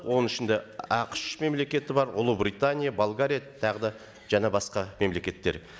оның ішінде ақш мемлекеті бар ұлыбритания болгария тағы да жаңа басқа мемлекеттер